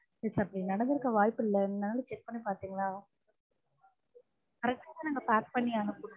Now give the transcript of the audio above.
இல்ல sir. அப்படி நடந்திருக்க வாய்ப்பில்லை. check பண்ணிபாக்கறீங்களா? correct ஆ நாங்க pack பண்ணி அனுப்பினோம்.